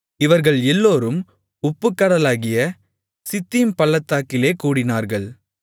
இவர்கள் எல்லோரும் உப்புக்கடலாகிய சித்தீம் பள்ளத்தாக்கிலே கூடினார்கள்